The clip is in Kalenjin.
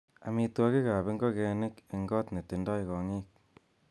Amitwogiik ab ingogenik en got netindoi kong'iik.